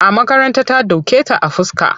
A makaranta ta doke ta a fuska.